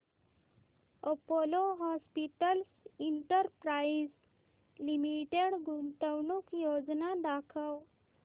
Apollo hospitals enterprise limited गुंतवणूक योजना दाखव